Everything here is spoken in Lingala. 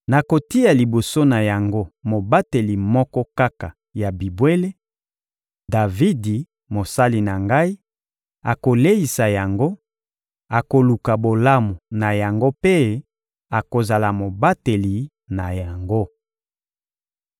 Nakotia liboso na yango mobateli moko kaka ya bibwele: Davidi, mosali na Ngai; akoleisa yango, akoluka bolamu na yango mpe akozala mobateli na yango.